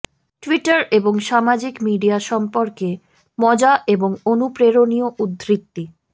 Twitter এবং সামাজিক media সম্পর্কে মজা এবং অনুপ্রেরণীয় উদ্ধৃতি